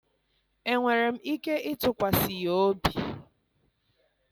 Enwere m ike ịtụkwasị ya obi?